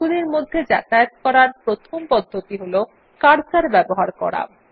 সেলগুলির মধ্যে যাতায়াত করার প্রথম পদ্ধতি হল কার্সার ব্যবহার করা